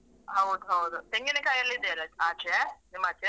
ಹೌದು ಹೌದು. ತೆಂಗಿನಕಾಯಿ ಎಲ್ಲ ಇದೆ ಅಲ ಆಚೆ ನಿಮ್ಮಾಚೆ.